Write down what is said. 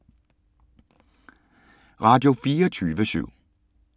Radio24syv